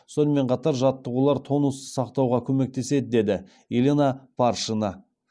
сонымен қатар жаттығулар тонусты сақтауға көмектеседі деді елена паршина